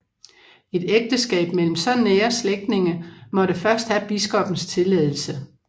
Et ægteskab mellem så nære slægtninge måtte først have biskoppens tilladelse